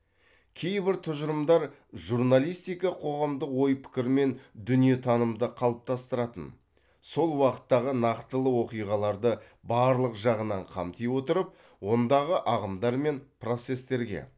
кейбір тұжырымдар журналистика қоғамдық ой пікір мен дүниетанымды қалыптастыратын сол уақыттағы нақтылы оқиғаларды барлық жағынан қамти отырып ондағы ағымдар мен процестерге